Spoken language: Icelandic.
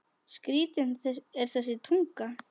Skrítin er þessi tunga.